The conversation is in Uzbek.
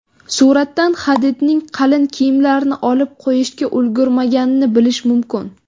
Suratdan Hadidning qalin kiyimlarini olib qo‘yishga ulgurmaganini bilish mumkin.